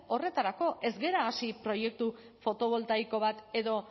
horretarako ez gara hasi proiektu fotovoltaiko bat edo